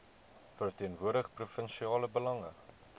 verteenwoordig provinsiale belange